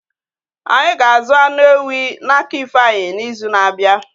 Ányi ga-azu anụ ewí na-aka ifeanyi n'izu na-abịa